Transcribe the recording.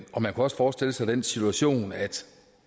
kunne også forestille sig den situation at